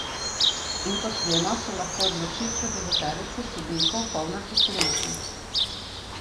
In kot vemo, so lahko odločitve deveterice sodnikov polne presenečenj.